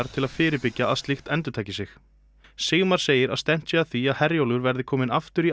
til að fyrirbyggja að slíkt endurtaki sig Sigmar segir að stefnt sé að því að Herjólfur verði kominn aftur í